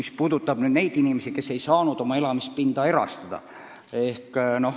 See puudutab siis neid inimesi, kes ei saanud oma elamispinda erastada.